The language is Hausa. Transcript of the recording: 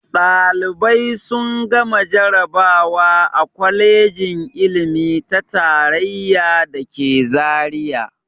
Ɗalibai sun gama jarabawa a kwalejin ilimi ta tarayya da ke Zariya.